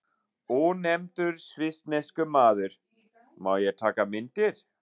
Ónefndur svissneskur maður: Má ég taka myndir?